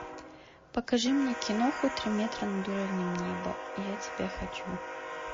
покажи мне киноху три метра над уровнем неба я тебя хочу